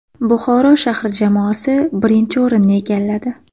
Buxoro shahri jamoasi birinchi o‘rinni egalladi.